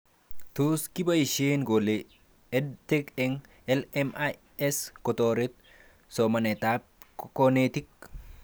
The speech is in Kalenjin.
Tos kiboishe kole EdTech eng LMIC kotoret somanetab konetik